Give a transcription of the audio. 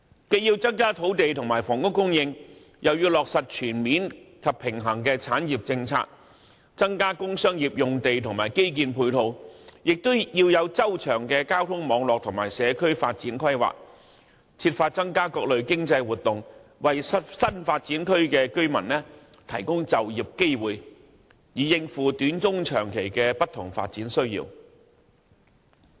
既要增加土地及房屋供應，亦要落實全面及平衡的產業政策，增加工商業用地及基建配套，同時要有周詳的交通網絡及社區發展規劃，設法促進各類經濟活動，為新發展區的居民提供就業機會，以應付短、中、長期的不同發展需要。